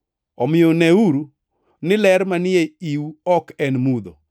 Omiyo, neuru, ni ler manie iu ok en mudho.